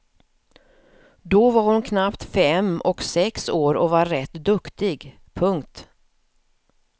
Då var hon knappt fem och sex år och var rätt duktig. punkt